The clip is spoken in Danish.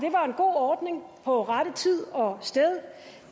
god ordning på rette tid og sted